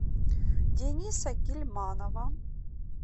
дениса гильманова